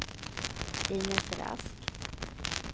Inez Rask